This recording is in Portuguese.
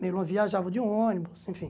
Meu irmão viajava de ônibus, enfim.